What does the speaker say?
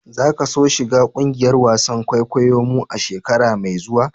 Za ka so shiga kungiyar wasan kwaikwayo mu a'shekara mai zuwa?